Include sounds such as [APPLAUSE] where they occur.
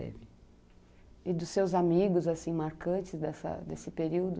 [UNINTELLIGIBLE] E dos seus amigos assim marcantes dessa desse período?